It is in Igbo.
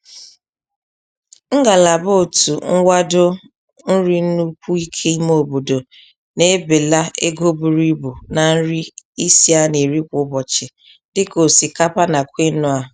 Ngalaba otu nwado nri n'ukwu ike ime obodo na-ebela ego buru ibu na nri isi a na-eri kwa ụbọchị dị ka osịkapa na kwinua.